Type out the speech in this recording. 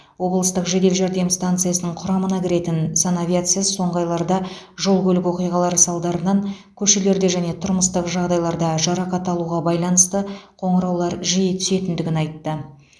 облыстық жедел жәрдем станциясының құрамына кіретін санавиация соңғы айларда жол көлік оқиғалары салдарынан көшелерде және тұрмыстық жағдайларда жарақат алуға байланысты қоңыраулар жиі түсетіндігін айтты